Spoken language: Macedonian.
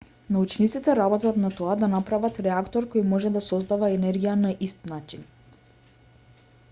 научниците работат на тоа да направат реактор кој може да создава енергија на ист начин